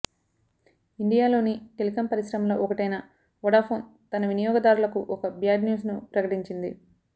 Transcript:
ఇండియాలోని టెలికం పరిశ్రమలో ఒకటైన వొడాఫోన్ తన వినియోగదారులకు ఇక బ్యాడ్ న్యూస్ ను ప్రకటించింది